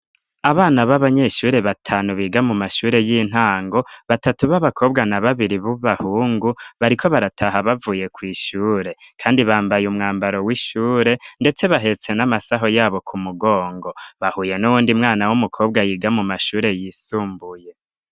Abana b'abanyeshure batanu biga mu mashure y'intango batatu b'abakobwa na babiri b'ubahungu bariko barataha bavuye kw'ishure, kandi bambaye umwambaro w'ishure, ndetse bahetse n'amasaho yabo ku mugongo bahuye n'uwundi mwana w'umukobwa yiga mu mashure yisumbuye.